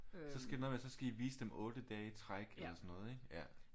Så skal I nå ja så skal I vise dem 8 dage i træk eller sådan noget ikke ja